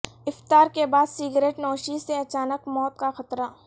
افطار کے بعد سگریٹ نوشی سے اچانک موت کا خطرہ